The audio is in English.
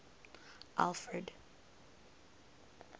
alfred